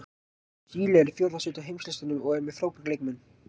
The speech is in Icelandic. Síle er í fjórða sæti á heimslistanum og er með frábæra leikmenn.